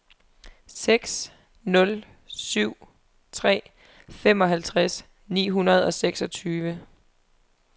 seks nul syv tre femoghalvtreds ni hundrede og seksogtyve